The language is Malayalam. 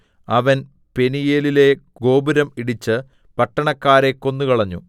അവൻ പെനീയേലിലെ ഗോപുരം ഇടിച്ച് പട്ടണക്കാരെ കൊന്നുകളഞ്ഞു